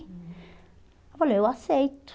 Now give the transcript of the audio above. Eu falei, eu aceito.